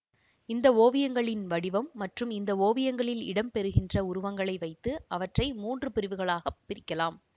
இந்த ஓவியங்களின் வடிவம் மற்றும் இந்த ஓவியங்களில் இடம் பெறுகின்ற உருவங்களை வைத்து அவற்றை மூன்று பிரிவுகளாக பிரிக்கலாம்